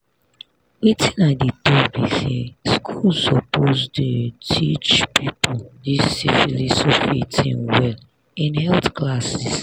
wetin i dey talk be say school suppose the teache people this syphilis of a thing well in health classes